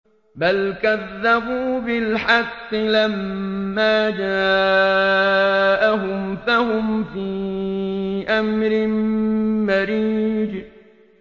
بَلْ كَذَّبُوا بِالْحَقِّ لَمَّا جَاءَهُمْ فَهُمْ فِي أَمْرٍ مَّرِيجٍ